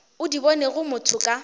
o di bonego motho ka